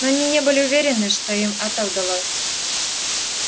но они не были уверены что им это удалось